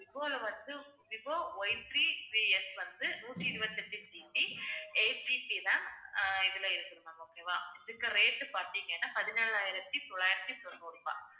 Vivo Ythree threeS வந்து நூத்தி இருபத்தி எட்டு GBeightGBram ஆஹ் இதுல இருக்கு ma'am okay வா இதுக்கு rate பார்த்தீங்கன்னா பதினேழாயிரத்தி தொள்ளாயிரத்தி தொண்ணூறு ரூபாய்